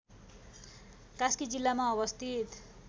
कास्की जिल्लामा अवस्थित